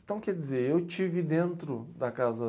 Então, quer dizer, eu estive dentro da casa.